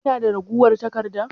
Kina da ragowar taƙarɗa?